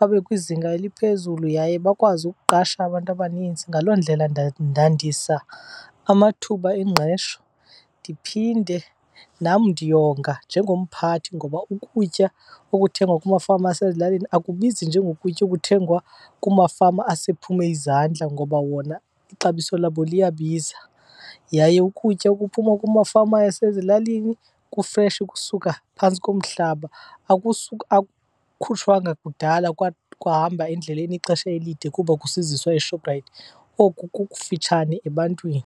babe kwizinga eliphezulu yaye bakwazi ukuqasha abantu abaninzi. Ngaloo ndlela ndandisa amathuba engqesho ndiphinde nam ndiyonga njengomphathi. Ngoba ukutya okuthengwa kumafama asezilalini akubizi njengokutya okuthengwa kumafama asephume izandla, ngoba wona ixabiso labo liyabiza. Yaye ukutya okuphuma kumafama asezilalini kufreshi kusuka phantsi komhlaba, akukhutshwanga kudala kwahamba endleleni ixesha elide kuba kusiziswa eShoprite, oku kukufitshane ebantwini.